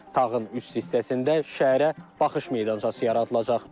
Tağın üst hissəsində şəhərə baxış meydançası yaradılacaq.